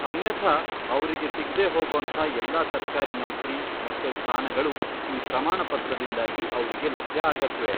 ಅನ್ಯಥಾ ಅವ್ರಿಗೆ ಸಿಗ್ದೇ ಹೋಗೋಂಥ ಎಲ್ಲ ಸರ್ಕಾರಿ ನೌಕ್ರಿ ಮತ್ತೆ ಸ್ಥಾನಗಳು ಈ ಪ್ರಮಾಣ ಪತ್ರದಿಂದಾಗಿ ಅವ್ರಿಗೆ ಲಭ್ಯ ಆಗತ್ವೆ.